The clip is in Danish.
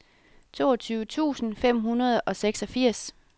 toogtyve tusind fem hundrede og seksogfirs